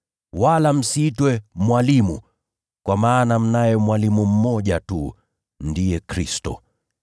Wala msiitwe ‘Mwalimu,’ kwa maana mnaye mwalimu mmoja tu, ndiye Kristo.